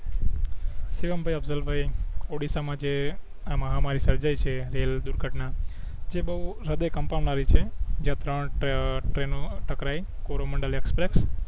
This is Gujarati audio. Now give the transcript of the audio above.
શિવમભઇ અફસલભઇ ઓડીસ્સા માં આ મહામારી સર્જાઇ છે રેલવે દુર્ઘટના તે બવ હદે કંપાવનારી છે જે અ ત્રણ ટ્રેનઓ ટકરાઇ કોરોમન્ડળ એક્સપ્રેસ